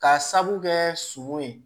K'a sabu kɛ suman ye